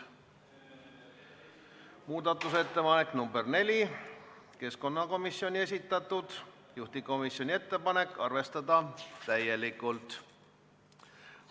Muudatusettepanek nr 4 on keskkonnakomisjoni esitatud, juhtivkomisjoni ettepanek on arvestada täielikult.